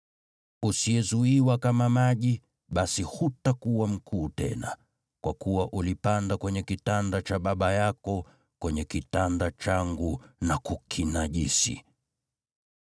Usiyezuiwa kama maji, basi hutakuwa mkuu tena, kwa kuwa ulipanda kwenye kitanda cha baba yako, kwenye kitanda changu na kukinajisi.